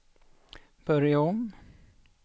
börja om